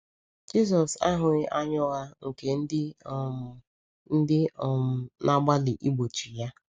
Jisọs ahụghị anya ụgha nke ndị um ndị um na-agbalị igbochi ya.